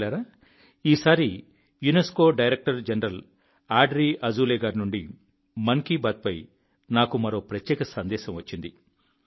మిత్రులారా ఈసారి UNESCO director general Audrey Azoulay గారి నుండి మన్ కీ బాత్పై నాకు మరో ప్రత్యేక సందేశం వచ్చింది